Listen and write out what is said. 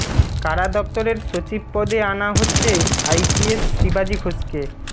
কারা দফতরের সচিব পদে আনা হচ্ছে আইপিএস শিবাজী ঘোষকে